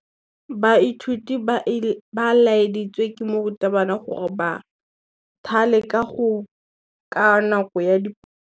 Baithuti ba laeditswe ke morutabana gore ba thale kagô ka nako ya dipalô.